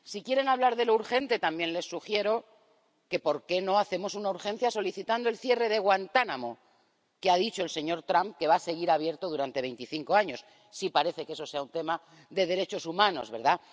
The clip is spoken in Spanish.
Si quieren hablar de lo urgente, también les sugiero que solicitemos urgentemente el cierre de Guantánamo, que ha dicho el señor Trump que va a seguir abierto durante veinticinco años sí parece que eso sea un tema de derechos humanos, ¿verdad?